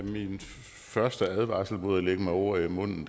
min første advarsel mod at lægge mig ord i munden